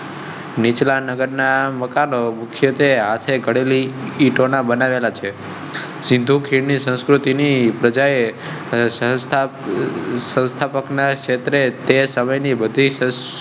નીચલા નગર ના મકાનો મુખ્યત્વે હાથે ઘડેલી ઈંટો ના બનાવેલા છે. કૃતિ ની પ્રજાએ સંસ્થા ના સંસ્થાપક ના ક્ષેત્રે તે સમય ની બધી